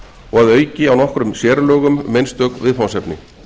og að auki á nokkrum sérlögum um einstök viðfangsefni